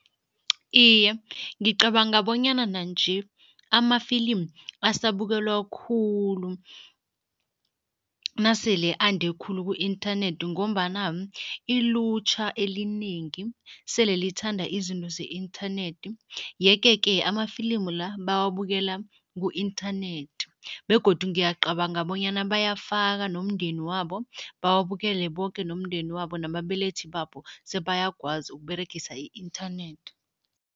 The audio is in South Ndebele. Iye, ngicabanga bonyana nanje amafilimu asabukelwa khulu nasele ande khulu ku-inthanethi ngombana ilutjha elinengi sele lithanda izinto ze-inthanethi yeke-ke amafilimu la, bawabukela ku-inthanethi begodu ngiyacabanga bonyana bayafaka nomndeni wabo, bawubukele boke nomndeni wabo nababelethi babo sebayakwazi ukuberegisa i-inthanethi.